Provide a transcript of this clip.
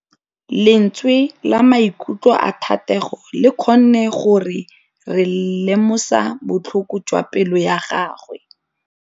Lentswe la maikutlo a Thategô le kgonne gore re lemosa botlhoko jwa pelô ya gagwe.